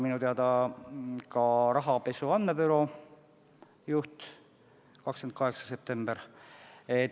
Minu teada ka rahapesu andmebüroo juhi puhul on tähtaeg 28. september.